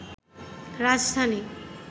রাজধানী